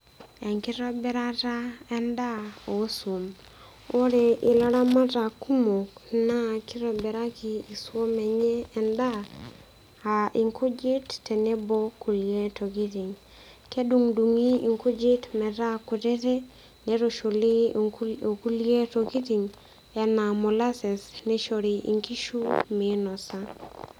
Enkitobirata en'daa oswam. Oore ilaramatak kumok na keitobiraki iswam eenye en'daa ah inkujit tenebo inkulie tokiting. Kedung'idung'i inkujit metaa kutitik, neitushuli okuli tokiting, enaa molaces neishori inkishu, meinosa.